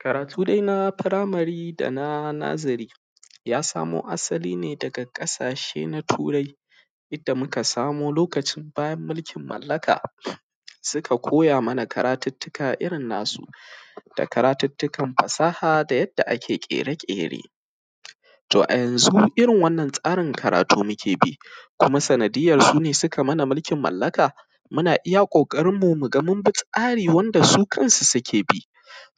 Karatu dai na firamari da na noziri ya samu asali danga ƙasashe na turai da muka samo lokacin bayan mulkin malaka suka koya mana karatutukka irin nasu da karatutukkan fasaha da yanda ake ƙere-ƙere to a a yanzu irin wannan tsarin karatu muke bi kuma sandaiyar su ne suka yi mana mulkin malaka muna iya ƙoƙarin mu ga mun bi tsari wanda su kansu suke bi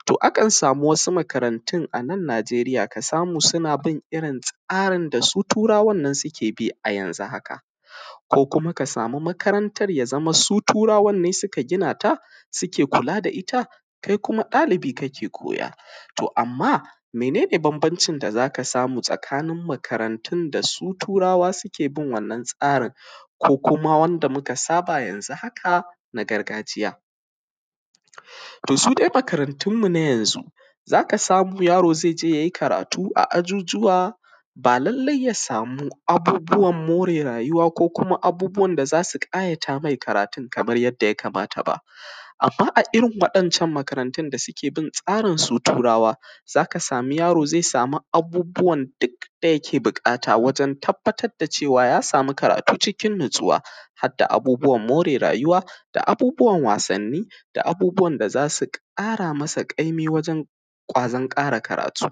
to aka samu wasu makarantun a Nageriya ka samu suna bin irin wannan tsarin da su turawan ne suka bi, yanzu haka ko kuma ka samu makarantar da suka turawanne suka gina ta suke kula da ita, kai kuma ɗalibi kake koya, to amma mene ne bamabnacin da za ka samu tsakan makarantun da su turawan suke bin wannan tsarin ko kuma wanda muka saba yanzu haka na gargajiya to su dai makarantunmu na yanzu za ka samu yaro ze je ya yi karatu a ajujjuwa ba lallai ya samu abubuwan more rayuwa ko kuma abubuwan da za su ƙayata me karatu kaman yanda ya kamata ba amma a irin wannan makarantun da suke bin tsarin su turawan za ka samu yaro ze samu abubuwan da duk yake buƙata wajen tabbatar da cewa ya samu karatu cikin natsuwa hadda abubuwan more rayuwa da abubuwan wasanni da abubuwan da za su ƙara masa ƙaimi wajen ƙwazon ƙara karatu.